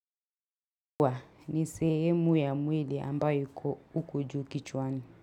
Kwa ni sehemu ya mwili ambayo iko ukuju kichwani.